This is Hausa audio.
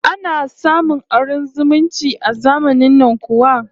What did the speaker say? Ana samun auren zumunci a zamanin nan kuwa?